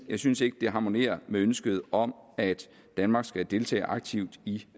jeg synes ikke det harmonerer med ønsket om at danmark skal deltage aktivt i